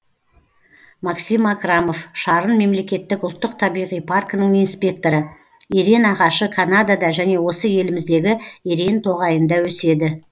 максим акрамов шарын мемлекеттік ұлттық табиғи паркінің инспекторы ерен ағашы канадада және осы еліміздегі ерен тоғайында өседі